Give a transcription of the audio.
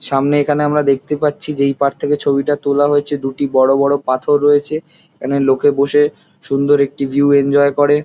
সামনে এখানে আমরা দেখতে পাচ্ছি যেই পার থেকে ছবি তোলা হয়েছে দুটি বড়ো বড়ো পাথর রয়েছে এখানে লোকে বসে সুন্দর একটি ভিউ এনজয় করে।